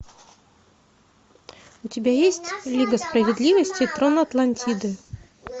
у тебя есть лига справедливости трон атлантиды